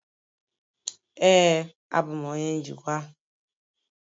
Ee, abụ m onye njikwa.